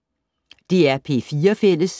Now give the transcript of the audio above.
DR P4 Fælles